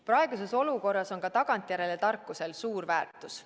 Praeguses olukorras on ka tagantjärele tarkusel suur väärtus.